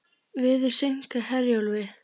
Veður seinkar Herjólfi